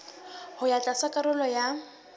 ho ya tlatsa karolo ya